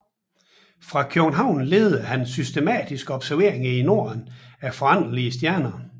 Fra København ledede han systematiske observationer i Norden af foranderlige stjerner